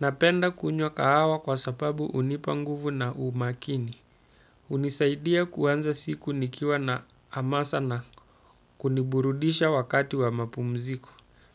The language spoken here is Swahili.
Napenda kunywa kahawa kwa sababu hunipa nguvu na umakini. Hunisaidia kuanza siku nikiwa na hamasa na kuniburudisha wakati wa mapumziko.